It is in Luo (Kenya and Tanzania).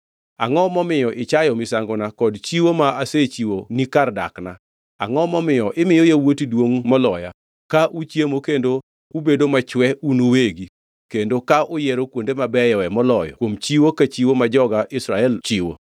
Angʼo momiyo ichayo misangona kod chiwo ma asechiwoni kar dakna? Angʼo momiyo imiyo yawuoti duongʼ moloya ka uchiemo kendo ubedo machwe un uwegi kendo ka uyiero kuonde mabeyoe moloyo kuom chiwo ka chiwo ma joga Israel chiwo?’